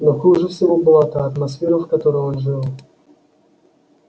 но хуже всего была та атмосфера в которой он жил